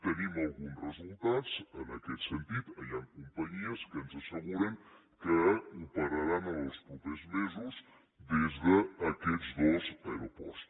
tenim alguns resultats en aquest sentit hi han companyies que ens asseguren que operaran els propers mesos des d’aquests dos aeroports